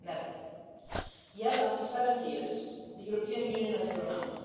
Never. Yet, after 70 years, the European Union has grown up.